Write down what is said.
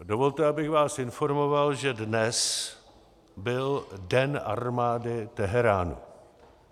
Dovolte, abych vás informoval, že dnes byl den armády Teheránu.